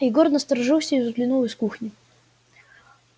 егор насторожился и взглянул из кухни